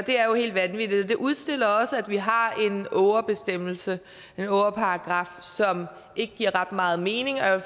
det er jo helt vanvittigt det udstiller også at vi har en ågerbestemmelse en ågerparagraf som ikke giver ret meget mening og jeg